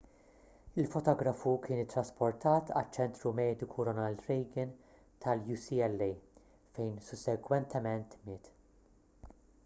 il-fotografu kien ittrasportat għaċ-ċentru mediku ronald reagan tal-ucla fejn sussegwentement miet